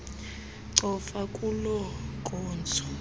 cofa kuloo nkonzo